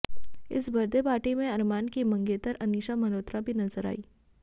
इस birthday party में अरमान की मंगेतर अनिसा मल्होत्रा भी नजर आईं